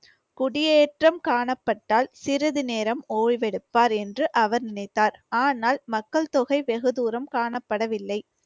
குடியேற்றம் காணப்பட்டால் சிறிது நேரம் ஓய்வெடுப்பார் என்று அவர் நினைத்தார். ஆனால் மக்கள் தொகை வெகு தூரம் காணப்படவில்லை.